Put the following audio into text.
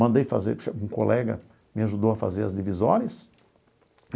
Mandei fazer, um colega me ajudou a fazer as divisórias.